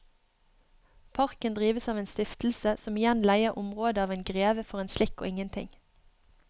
Parken drives av en stiftelse som igjen leier området av en greve for en slikk og ingenting.